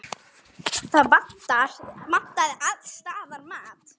Það vantaði alls staðar mat.